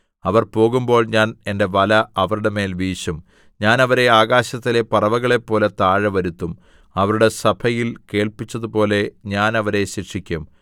അവർ പോകുമ്പോൾ ഞാൻ എന്റെ വല അവരുടെ മേൽ വീശും ഞാൻ അവരെ ആകാശത്തിലെ പറവകളെപ്പോലെ താഴെ വരുത്തും അവരുടെ സഭയിൽ കേൾപ്പിച്ചതുപോലെ ഞാൻ അവരെ ശിക്ഷിക്കും